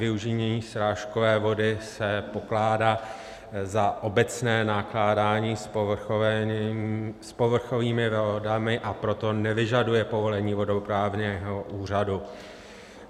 Využívání srážkové vody se pokládá za obecné nakládání s povrchovými vodami, a proto nevyžaduje povolení vodoprávního úřadu.